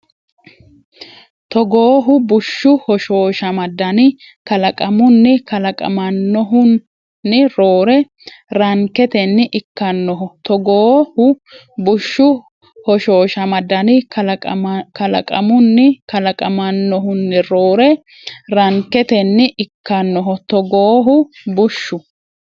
Togoohu bushshu hoshooshama dani kalaqamunni kalaqamannohun- roore ranketenni ikkannoho Togoohu bushshu hoshooshama dani kalaqamunni kalaqamannohun- roore ranketenni ikkannoho Togoohu bushshu.